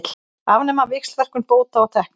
Afnema víxlverkun bóta og tekna